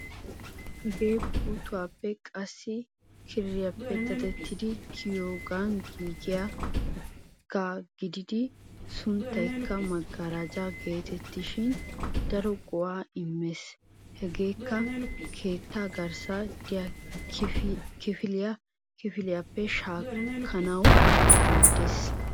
Hagee puuttuwaappe qassikka kiriyappe dadettidi kiyogan giigiyaagaa gididi sunttaykka magarajja geetettishin daro go'aa immees. Hegeekkka keetta garssan de'iya kifiliya kifiliyappe shaakkanawu maaddeees.